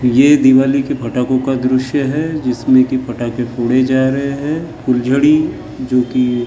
यह दीवाली के पटाखों का दृश्य है जिसमें पटाखे फोड़े जा रहे हैं फुलझडि जोकी --